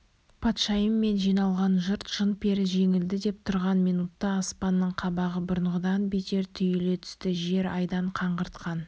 патшайым мен жиналған жұрт жын-пері жеңілді деп тұрған минутта аспанның қабағы бұрынғыдан бетер түйіле түсті жел айдан қаңғыртқан